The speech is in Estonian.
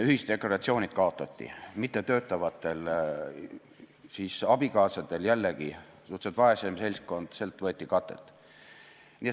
Ühisdeklaratsioonid kaotati, mittetöötavatelt abikaasadelt – jällegi suhteliselt vaesem seltskond – võeti katet.